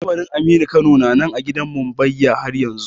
Kabarin aminu kano na nan a gidan mumbbayya haryanzu